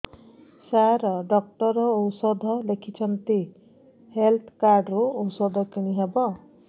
ସାର doctor ଔଷଧ ଲେଖିଛନ୍ତି health card ରୁ ଔଷଧ କିଣି ହେବ